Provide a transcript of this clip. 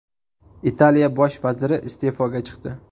Italiya bosh vaziri iste’foga chiqdi.